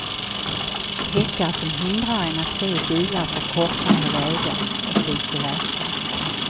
Häckar som hindrar en att se bilar från korsande vägar och vice versa.